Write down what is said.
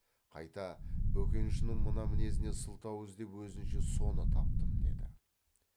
қайта бөкеншінің мына мінезіне сылтау іздеп өзінше соны таптым деді